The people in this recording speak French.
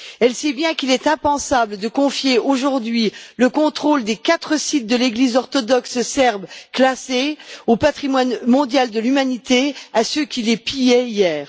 Elle sait bien qu'il est impensable de confier aujourd'hui le contrôle des quatre sites de l'Église orthodoxe serbe classés au patrimoine mondial de l'humanité à ceux qui les pillaient hier.